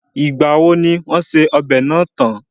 Ìgbà wo ni wọ́n ṣe ọbẹ̀ náà tán?